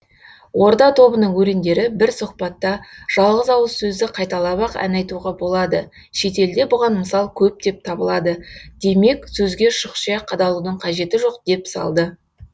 орда тобының өрендері бір сұхбатта жалғыз ауыз сөзді қайталап ақ ән айтуға болады шетелде бұған мысал көптеп табылады демек сөзге шұқшия қадалудың қажеті жоқ деп салды